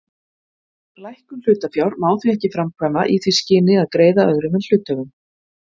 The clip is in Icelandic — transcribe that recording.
Lækkun hlutafjár má því ekki framkvæma í því skyni að greiða öðrum en hluthöfum.